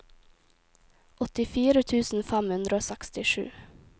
åttifire tusen fem hundre og sekstisju